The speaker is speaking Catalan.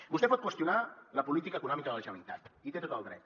vostè pot qüestionar la política econòmica de la generalitat hi té tot el dret